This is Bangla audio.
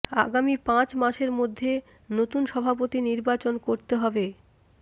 আগামী পাঁচ মাসের মধ্যে নতুন সভাপতি নির্বাচন করতে হবে